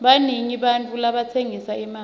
banengi bantfu labatsengisa emakha